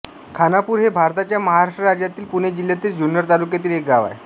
खानापूर हे भारताच्या महाराष्ट्र राज्यातील पुणे जिल्ह्यातील जुन्नर तालुक्यातील एक गाव आहे